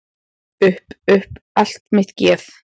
Upp upp allt mitt geð.